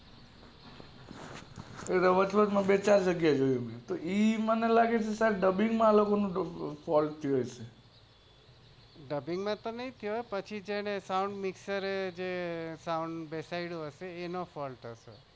વચ વચ માં બે ચાર જગ્યા એ જોયું મને લાગે કે આમના dubbing માં fault થયો હશે